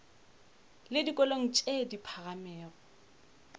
le dikolong tše di phagamego